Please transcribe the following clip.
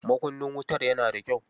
Makunnin wutar yana da kyau.